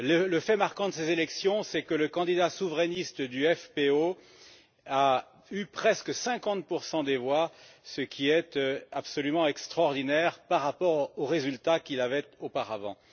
Le fait marquant de ces élections, c'est que le candidat souverainiste du FPÖ a obtenu presque 50 des voix, ce qui est absolument extraordinaire par rapport au résultat qu'il avait auparavant.